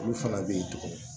Olu fana bɛ ye tugun